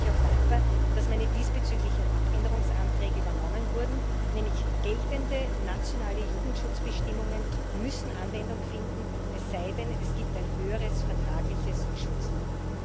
Deshalb bin ich auch dankbar, dass meine diesbezüglichen Änderungsanträge übernommen wurden Geltende nationale Jugendschutzbestimmungen müssen nämlich Anwendung finden, es sei denn, es gibt ein höheres vertragliches Schutzniveau.